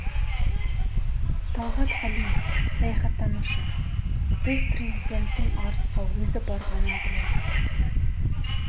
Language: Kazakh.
талғат қалиев саясаттанушы біз президенттің арысқа өзі барғанын білеміз